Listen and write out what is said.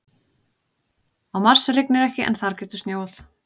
Á Mars rignir ekki en þar getur snjóað.